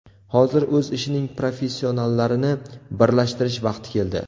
Hozir o‘z ishining professionallarini birlashtirish vaqti keldi.